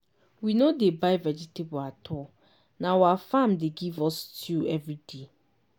we no dey buy vegetables at all na our farm dey give us stew every day.